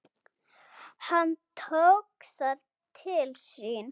Hann tók það til sín